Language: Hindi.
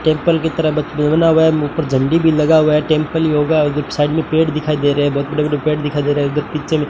टेंपल की तरफ हुआ है मुंह पर झंडी भी लगा हुआ है टेंपल योगा जब साइड में पेड़ दिखाई दे रहे हैं बहुत बड़े बड़े पेड़ दिखाई दे रहा है उधर पीछे में--